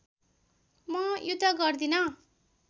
म युद्ध गर्दिन